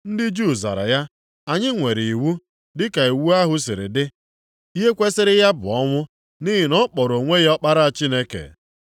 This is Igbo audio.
Ndị Juu zara ya, “Anyị nwere iwu, dị ka iwu ahụ siri dị, ihe kwesiri ya bụ ọnwụ, nʼihi na ọ kpọrọ onwe ya Ọkpara Chineke.”